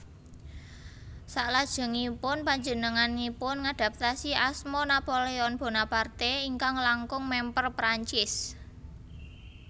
Salajengipun panjenenganipun ngadhaptasi asma Napoléon Bonaparte ingkang langkung mèmper Prancis